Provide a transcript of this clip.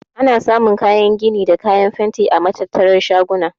Ana samun kayan gini da kayan fenti a matattarar shaguna.